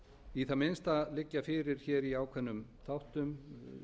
í það minnsta liggja fyrir hér í ákveðnum þáttum